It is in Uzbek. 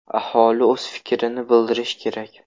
Aholi o‘z fikrini bildirishi kerak.